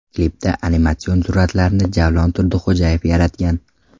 Klipda animatsion suratlarni Javlon Turdixo‘jayev yaratgan.